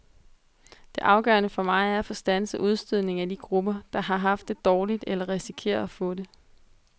Det afgørende for mig er at få standset udstødningen af de grupper, der har haft det dårligt eller risikerer at få det.